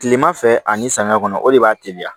Kilema fɛ ani samiya kɔnɔ o de b'a teliya